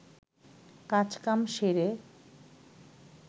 কাজ কাম সেরে